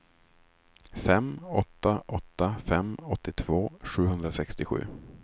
fem åtta åtta fem åttiotvå sjuhundrasextiosju